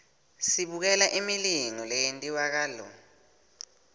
sibukela imilingo leyentiwakalo